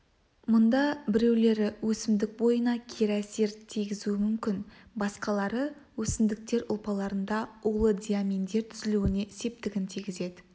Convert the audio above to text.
мұнда біреулері өсімдік бойына кері әсер тигізуі мүмкін басқалары өсімдіктер ұлпаларында улы диаминдер түзілуіне септігін тигізеді